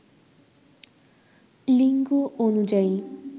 লিঙ্গ অনুযায়ী